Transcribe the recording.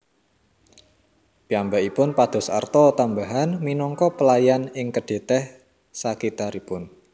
Piyambakipun pados arta tambahan minangka pelayan ing kedai teh sakitaripun